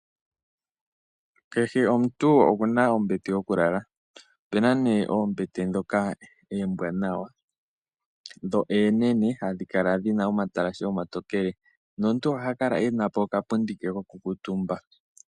Kehe omuntu okuna ombete yokulala, opena ne oombeye ndhoka oombwaanawa, dho oonene, h dhi kala dhina omatalashe omatokele, nomuntu oha kala enapo oka pundi ke koku kuutumba.